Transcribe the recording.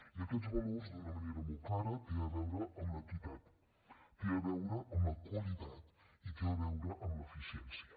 i aquests valors d’una manera molt clara tenen a veure amb l’equitat tenen a veure amb la qualitat i tenen a veure amb l’eficiència